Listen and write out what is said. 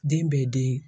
Den bɛ den